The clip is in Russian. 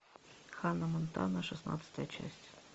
ханна монтана шестнадцатая часть